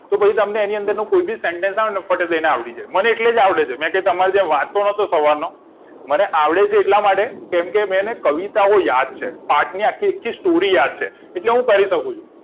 તો પછી તમને એનો કોઈભી sentence આવેને તો ફટ લઈને આવડી જાય મને એટલે જ આવડે છે નકે તો તમાર જેમ વાંચતો નતો સવારનો મને આવડે છે એટલા માટે કેમકે મેં એને કવિતાઓ યાદ છે આખેઆખી story યાદ છે એટલે હું કરી શકું છુ